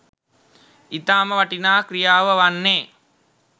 ඉතාම වටිනා ක්‍රියාව වන්නේ